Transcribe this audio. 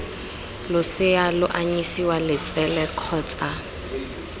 losea lo anyisiwa letsele kgotsa